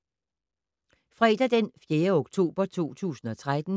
Fredag d. 4. oktober 2013